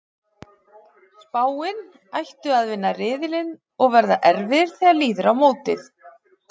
Spáin: Ættu að vinna riðilinn og verða erfiðir þegar líður á mótið.